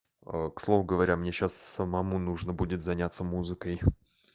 к слову говоря мне сейчас самому нужно будет заняться музыкой